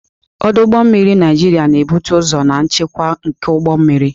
Ọdụ ụgbọ mmiri Naịjiria na-ebute ụzọ na nchekwa nke ụgbọ mmiri.